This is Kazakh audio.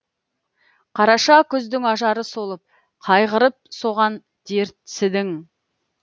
қараша күздің ажары солып қайғырып соған дертсідің